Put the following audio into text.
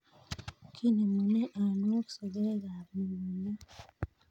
Kinemune anwaok sogek ab mugongiot